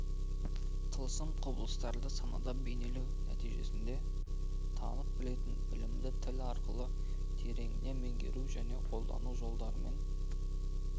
тылсым құбылыстарды санада бейнелеу нәтижесінде танып-білетін білімді тіл арқылы тереңінен меңгеру және қолдану жолдары мен